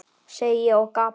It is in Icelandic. segi ég og gapi.